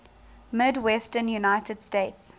midwestern united states